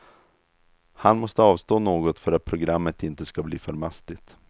Han måste avstå något för att programmet inte skall bli för mastigt.